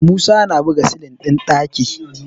Musa na buga silin ɗin ɗaki